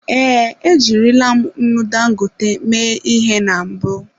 Ee, ejirila m nnu Dangote mee ihe na mbụ.